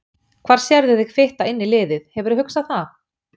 Hvar sérðu þig fitta inn í liðið, hefurðu hugsað það?